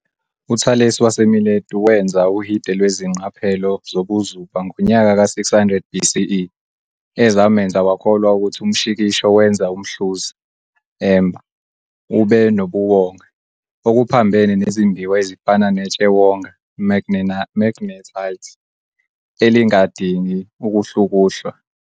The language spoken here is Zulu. UThalesi waseMiletu wenza uhide lwezingqaphelo zobuzuba ngonyaka ka plus 600 BCE, ezamenza wakholwa ukuthi umshikisho wenza umhluzi", amber, "ube nobuwonga, okuphambene nezimbiwa ezifana netshewonga, "magnetite", elingadingi ukuhlukuhlwa.